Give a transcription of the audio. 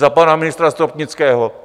Za pana ministra Stropnického?